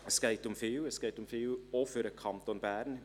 Es geht um viel, auch für den Kanton Bern;